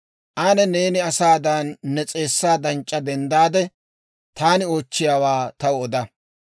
Ane neeni asaadan ne s'eessaa danc'c'a denddaade, taani oochchiyaawaa taw oda.